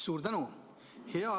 Suur tänu!